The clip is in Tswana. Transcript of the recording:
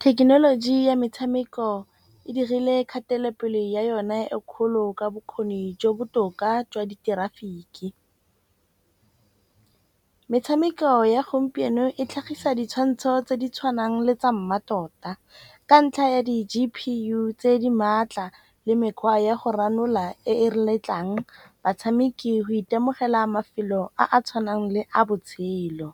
Thekenoloji ya metshameko e dirile kgatelopele ya yone e kgolo ka bokgoni jo bo botoka jwa ditirafiki. Metshameko ya gompieno e tlhagisa ditshwantsho tse di tshwanang le tsa mmatota, ka ntlha ya di-G_P_U tse di maatla le mekgwa ya go ranola e re letlang batshameki go itemogela mafelo a a tshwanang le a botshelo.